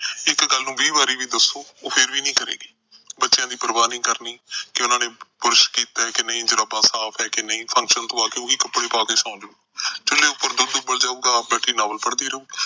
ਇੱਕ ਗੱਲ ਨੂੰ ਵੀਹ ਵਾਰੀ ਵੀ ਦੱਸੋ, ਉਹ ਨਹੀਂ ਕਰੇਗੀ। ਬੱਚਿਆਂ ਦੀ ਪਰਵਾਹ ਨੀ ਕਰਨੀ ਕਿ ਉਹਨਾਂ ਨੇ brush ਕੀਤਾ ਕਿ ਨਹੀਂ, ਜਰਾਬਾਂ ਸਾਫ ਆ ਕਿ ਨਹੀਂ, function ਤੋਂ ਆ ਕੇ ਉਹੀ ਕੱਪੜੇ ਪਾ ਕੇ ਸੌਂਜੂ। ਪਤੀਲੇ ਵਿੱਚ ਦੁੱਧ ਉੱਬਲ ਜਾਊਗਾ, ਆਪ ਬੈਠੀ ਨਾਵਲ ਪੜ੍ਹਦੀ ਰਹੂ।